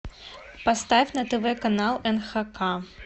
поставь на тв канал нхк